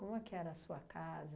é que era a sua casa?